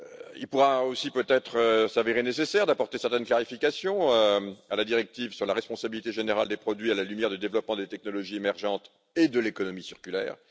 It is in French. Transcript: Il pourra aussi peut être s'avérer nécessaire d'apporter certaines clarifications à la directive sur la responsabilité générale des produits à la lumière du développement des technologies émergentes et de l'économie circulaire.